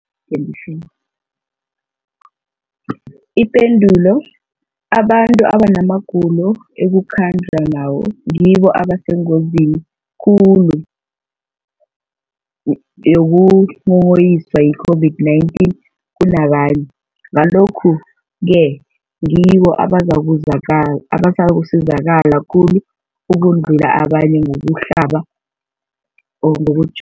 Ipendulo, abantu abanamagulo ekukhanjwa nawo ngibo abasengozini khulu yokukghokghiswa yi-COVID-19 kunabanye, Ngalokhu-ke ngibo abazakusizakala khulu ukudlula abanye ngokuhlaba, ngoku